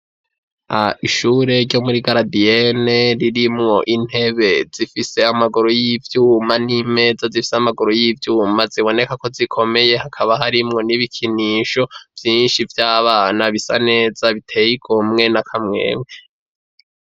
Ishure ryo muri garadiyene ririmwo intebe zifise amaguru y'ivyuma n'imeza zifise amaguru y'ivyuma ziboneka ko zikomeye, hakaba harimwo n'ibikinisho vyinshi vy'abana bisa neza biteye igomwe na kamwemwe.